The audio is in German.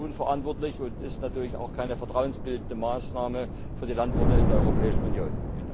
Das ist unverantwortlich und natürlich auch keine vertrauensbildende Maßnahme für die Landwirte in der Europäischen Union.